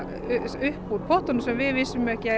upp úr pottunum sem við vissum ekki